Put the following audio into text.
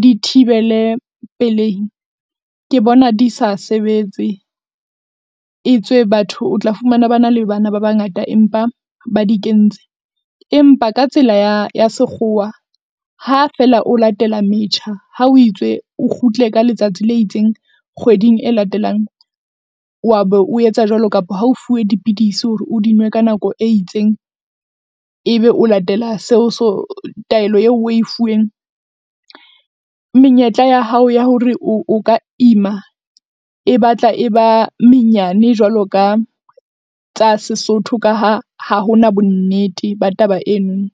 di thibele pelehi ke bona di sa sebetse. E tswe batho o tla fumana bana le bana ba bangata empa ba di kentse. Empa ka tsela ya ya sekgowa ha feela o latela metjha ha o itswe o kgutle ka letsatsi le itseng kgweding e latelang. Wa be o etsa jwalo kapa ha o fuwe dipidisi hore o di nwe ka nako e itseng, ebe o latela seo taelo eo oe fuweng. Menyetla ya hao ya hore o ka ima e batla e ba menyane jwalo ka tsa sesotho. Ka ha ha ho na bonnete ba taba eno.